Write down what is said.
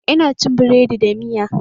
Ina cin biredi da miya